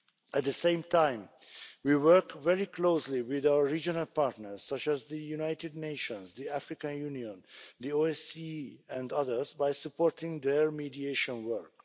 At the same time, we work very closely with our regional partners such as the United Nations, the African Union, the OSCE and others, by supporting their mediation work.